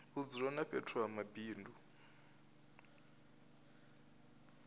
vhudzulo na fhethu ha mabindu